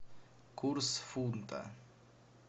курс фунта